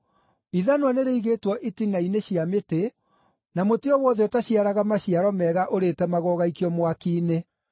Ithanwa nĩrĩigĩtwo itina-inĩ cia mĩtĩ, na mũtĩ o wothe ũtaciaraga maciaro mega ũrĩtemagwo ũgaikio mwaki-inĩ.”